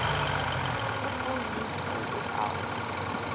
football league afl